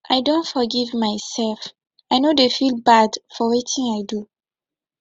i don forgive mysef i no dey feel bad for wetin i do